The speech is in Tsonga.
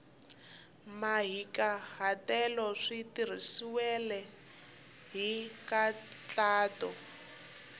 mahikahatelo swi tirhisiwile hi nkhaqato